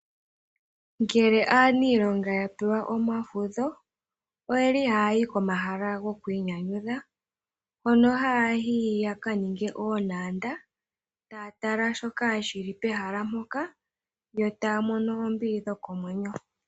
Ngele aaniilonga ya pewa omafudho, oye li haa yi komahala gokwiinyanyudha, hono haa yi ya ka ninge oontanda, taa tala shoka shi li pehala mpoka, yo taa mono oombili dhokomwenyo.